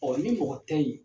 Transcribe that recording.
ni mɔgɔ tɛ yi.